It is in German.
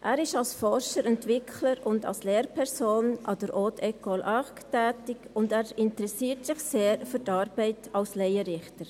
Er ist als Forscher, Entwickler und Lehrperson an der Haute Ecole Arc (HE-ARC) tätig und interessiert sich sehr für die Arbeit als Laienrichter.